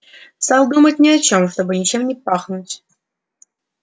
стал думать ни о чем чтобы ничем не пахнуть